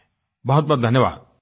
बहुतबहुत धन्यवाद